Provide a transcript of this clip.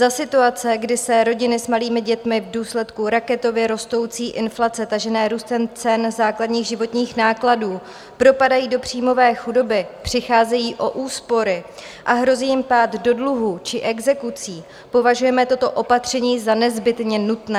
Za situace, kdy se rodiny s malými dětmi v důsledku raketově rostoucí inflace tažené růstem cen základních životních nákladů propadají do příjmové chudoby, přicházejí o úspory a hrozí jim pád do dluhů či exekucí, považujeme toto opatření za nezbytně nutné.